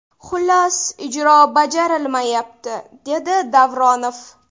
Xullas, ijro bajarilmayapti”, dedi Davronov.